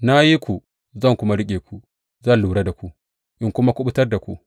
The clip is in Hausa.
Na yi ku zan kuma riƙe ku; zan lura da ku in kuma kuɓutar da ku.